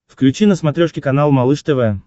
включи на смотрешке канал малыш тв